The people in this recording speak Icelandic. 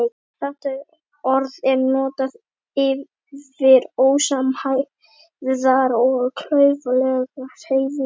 Þetta orð er notað yfir ósamhæfðar og klaufalegar hreyfingar.